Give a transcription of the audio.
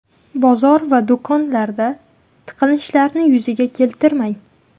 Bozor va do‘konlarda tiqilinchlarni yuzaga keltirmang.